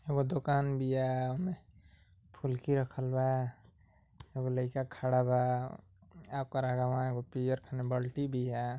एगो दूकान बिया। फुलकी रखल बा। एगो लईका खड़ा बा। आपके आगवा एगो पियर खाने बल्टी बिया।